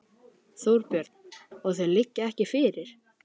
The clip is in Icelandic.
Þorbjörn: Og þau liggja ekki fyrir?